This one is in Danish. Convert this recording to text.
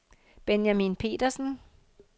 Benjamin Petersen